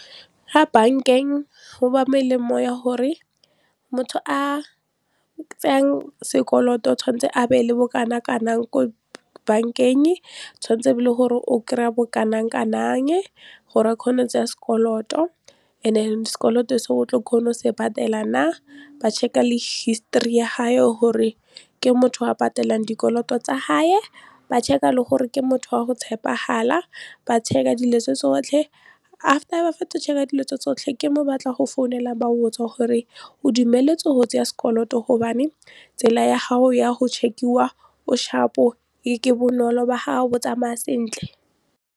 Ga bank-eng go ba melemo ya gore motho a tsayang sekoloto o tshwanetse a be le bokana kanang ko bank-eng, tshwanetse le gore o kry-a bo kanang kanang gore a kgone go tsaya sekoloto and then sekoloto se o tlo kgona go se patela na, ba check-a le history ya haye le gore ke motho a patelang dikoloto tsa hae ba check-a le gore ke motho wa go tshepegala, ba check-a dilo tse tsotlhe after ba fetsa check-a dilo tse tsotlhe ke mo batla go founela ba go botsa gore o dumeletse go tseya sekoloto gobane tsela ya gago ya go check-iwa o sharp-o ke bonolo bo tsamaya sentle.